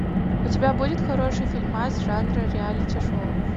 у тебя будет хороший фильмас жанра реалити шоу